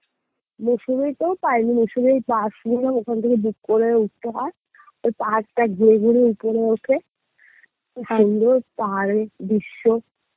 মুসৌরিতেও পাইনি মুসৌরির ওখান থেকে book করে উঠতে হয় তো পাহাড়টা ঘুরে ঘুরে উপরে ওঠে কি সুন্দর পাহাড়ের দৃশ্য